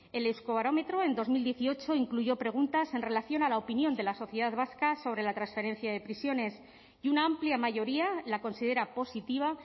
el euskobarómetro en dos mil dieciocho incluyó preguntas en relación a la opinión de la sociedad vasca sobre la transferencia de prisiones y una amplia mayoría la considera positiva